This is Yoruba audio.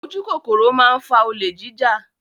Ojúkòkòrò máa ń fa olè jíjà.